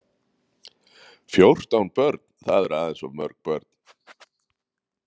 Fjórtán börn, það eru aðeins of mörg börn.